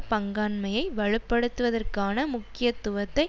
பங்காண்மையை வலுப்படுத்துவதற்கான முக்கியத்துவத்தை